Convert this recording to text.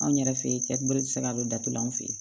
Anw yɛrɛ fe ye bolo ti se ka don datula an fe yen